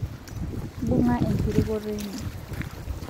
bunga ekirukoto ino